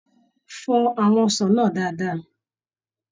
Fọ àwọn ọsàn náà dáadáa.